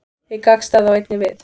Hið gagnstæða á einnig við.